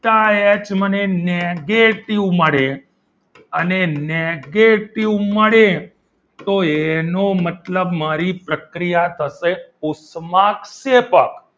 delta H મને negative મળે અને negative મળે તો એનો મતલબ મારી પ્રક્રિયા થશે ઉષ્મા ક્ષેપક